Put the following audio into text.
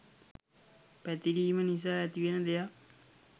පැතිරීම නිසා ඇතිවෙන දෙයක්.